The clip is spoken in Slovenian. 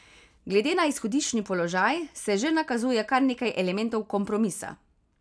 Glede na izhodiščni položaj se že nakazuje kar nekaj elementov kompromisa.